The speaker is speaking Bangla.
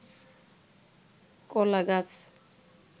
কলা গাছ